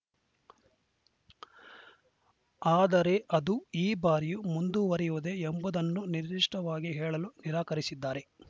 ಆದರೆ ಅದು ಈ ಬಾರಿಯೂ ಮುಂದುವರಿಯುವುದೇ ಎಂಬುದನ್ನು ನಿರ್ದಿಷ್ಟವಾಗಿ ಹೇಳಲು ನಿರಾಕರಿಸಿದ್ದಾರೆ